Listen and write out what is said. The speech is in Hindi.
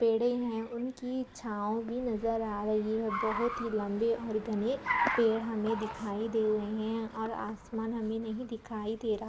पेड़े है उनकी छाव भी नजर आ रही हैं बहुत ही लंबे और घने पेड़ हमे दिखाई दे रहे हैं और आसमान हमे नहीं दिखाई दे रहा --